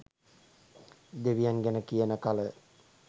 දෙවියන් ගැන කියන කල